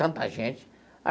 Tanta gente.